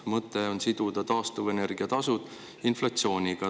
Mõte on siduda taastuvenergia tasud inflatsiooniga.